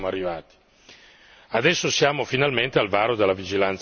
punto di ordine puramente politico e culturale siamo arrivati.